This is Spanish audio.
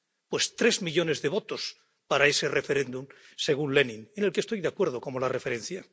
Pues tres millones de votos para ese referéndum —según Lenin, con el que estoy de acuerdo como referencia—.